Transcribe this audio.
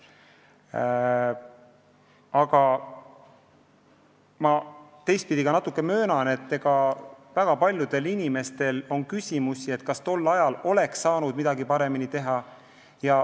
Aga samas ma möönan, et väga paljudel inimestel on küsimusi, kas tol ajal oleks saanud midagi paremini teha.